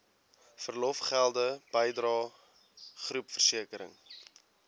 verlofgelde bydrae groepversekering